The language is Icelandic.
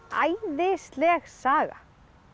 æðisleg saga